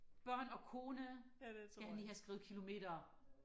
børn og kone skal han lige have skrevet kilometer